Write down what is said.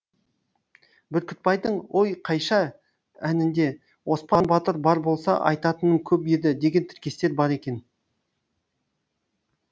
бүркітбайдың ой қайша әнінде оспан батыр бар болса айтатыным көп еді деген тіркестер бар екен